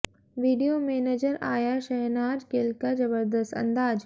video में नजर आया शहनाज गिल का जबरदस्त अंदाज